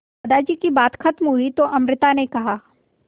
दादाजी की बात खत्म हुई तो अमृता ने कहा